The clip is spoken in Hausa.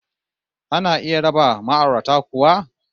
Ana iya raba ma'aurata kuwa?